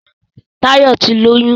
Táyọ̀ ti lóyún